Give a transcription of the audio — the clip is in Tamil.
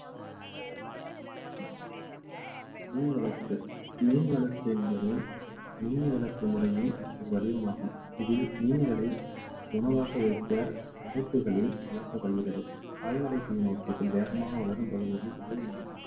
மீன் வளர்ப்பு மீன் வளர்ப்பு என்பது மீன் வளர்ப்பு முறையின் ஒரு வடிவமாகும் இதில் மீன்களை உணவாக வைக்க அடைப்புகளில் வளர்க்கப்படுகிறது கால்நடை வேகமாக வளரும் பகுதிகளில் இதுவும் ஒன்றாகும்